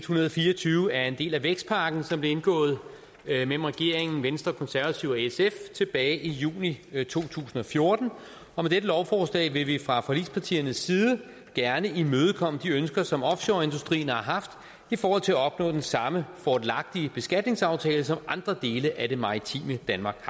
hundrede og fire og tyve er en del af den vækstpakke som blev indgået mellem regeringen venstre konservative og sf tilbage i juni to tusind og fjorten og med dette lovforslag vil vi fra forligspartiernes side gerne imødekomme de ønsker som offshoreindustrien har haft i forhold til at opnå den samme fordelagtige beskatningsaftale som andre dele af det maritime danmark